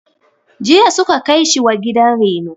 Jiya su ka kai shi gidan reno..